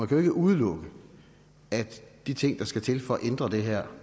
kan jo ikke udelukke at de ting der skal til for at ændre det her